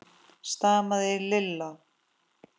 stamaði Lilla.